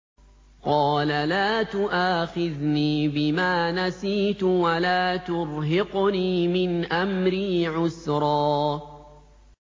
قَالَ لَا تُؤَاخِذْنِي بِمَا نَسِيتُ وَلَا تُرْهِقْنِي مِنْ أَمْرِي عُسْرًا